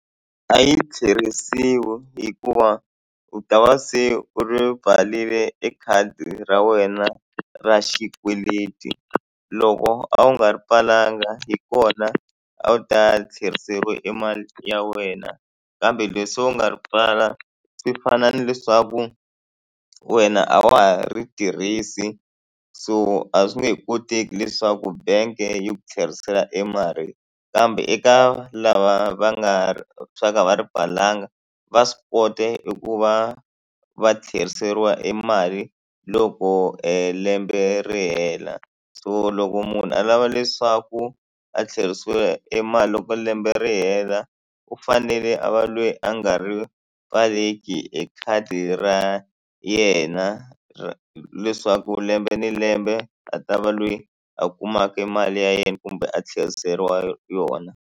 A yi tlheriseriwi hikuva u ta va se u ri pfarile e khadi ra wena ra xikweleti loko a wu nga ri pfalanga hi kona a wu ta tlheriseriwa e mali ya wena kambe leswi u nga ri pfala swi fana ni leswaku wena a wa ha ri tirhisi so a swi nge he koteki leswaku bank yi ku tlherisela e mali kambe eka lava va nga swa ku a va ri pfalanga va swi kota i ku va va tlheriseriwa e emali loko lembe ri hela so loko munhu a lava leswaku a tlherisiwa e mali loko lembe ri hela u fanele a va le hi a nga ri pfaleki e khadi ra yena ra leswaku lembe ni lembe a ta va loyi a kumaka rmali ya yena kumbe a tlheriseriwa yona.